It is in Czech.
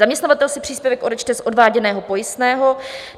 Zaměstnavatel si příspěvek odečte z odváděného pojistného.